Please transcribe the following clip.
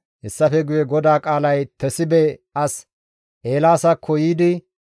Hessafe guye GODAA qaalay Tesibe as Eelaasakko yiidi,